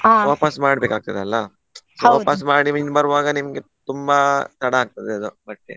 ಮಾಡ್ಬೇಕಾಗ್ತದಲ್ಲ ಮಾಡಿ ಮಿನಿ ಬರ್ವಾಗ ನಿಮ್ಗೆ ತುಂಬಾ ತಡ ಆಗ್ತದೆ ಅದು ಬಟ್ಟೆ.